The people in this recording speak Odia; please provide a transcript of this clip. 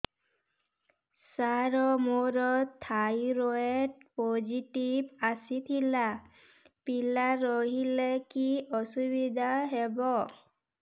ସାର ମୋର ଥାଇରଏଡ଼ ପୋଜିଟିଭ ଆସିଥିଲା ପିଲା ରହିଲେ କି ଅସୁବିଧା ହେବ